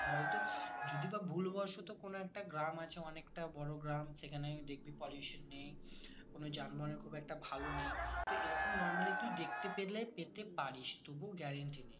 হয়তো যদি বা ভুলবশত কোনো একটা গ্রাম আছে অনেকটা বড়ো গ্রাম সেখানে দেখবি pollution নেই কোনো যানবাহন এর খুব একটা ভালো নেই তো এরকম normally তুই দেখতে পেলে পেতে পারিস তবুও guarantee নেই